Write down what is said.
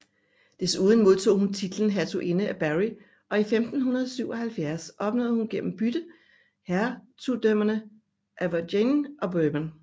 Desuden modtog hun titlen Hertuginde af Berry og i 1577 opnåede hun gennem bytte hertugdømmerne Auvergne og Bourbon